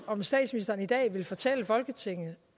om statsministeren i dag vil fortælle folketinget